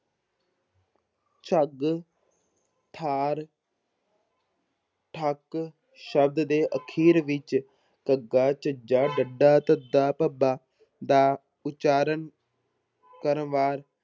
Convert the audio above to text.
ਝੱਗ, ਠਾਰ ਠੱਗ ਸ਼ਬਦ ਦੇ ਅਖ਼ੀਰ ਵਿੱਚ ਗੱਗਾ, ਝੱਝਾ ਡੱਡਾ, ਧੱਦਾ, ਭੱਬਾ ਦਾ ਉਚਾਰਨ ਕਰਮਵਾਰ